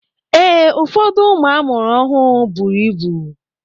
Ee, ụfọdụ ụmụ amụrụ ọhụụ bụrụ ịbụ.